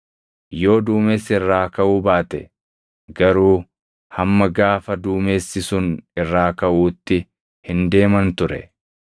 Yoo duumessi irraa kaʼuu baate garuu hamma gaafa duumessi sun irraa kaʼuutti hin deeman ture.